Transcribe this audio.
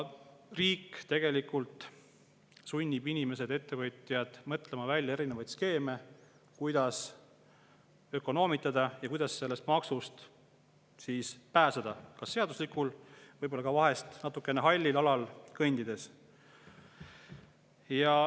Riik tegelikult sunnib inimesi ja ettevõtjaid mõtlema välja erinevaid skeeme, kuidas ökonoomitada ja sellest maksust pääseda seaduslikul, võib-olla vahest ka natukene hallil alal kõndides.